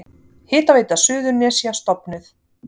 Hitaveita Suðurnesja stofnuð.